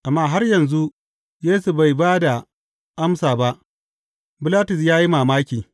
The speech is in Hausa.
Amma har yanzu, Yesu bai ba da amsa ba, Bilatus ya yi mamaki.